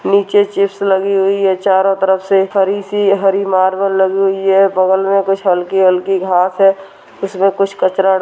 नीचे लगी हुई है चारो तरफ से हरी सी हरी मार्बल लगी हुई है बगल में कुछ हलकी हलकी घास है उसपे कुछ कचरा डा --